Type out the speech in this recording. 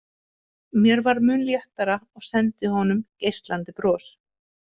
Mér varð mun léttara og sendi honum geislandi bros.